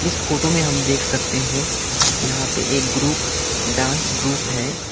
इस फोटो में हम देख सकते है यहां पे एक ग्रुप डांस ग्रुप है।